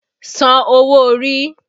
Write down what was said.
San owó orí!